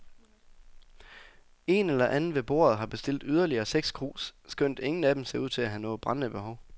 Én eller anden ved bordet har bestilt yderligere seks krus, skønt ingen af dem ser ud til at have noget brændende behov.